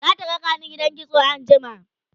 zata rakani gidan kitso anjima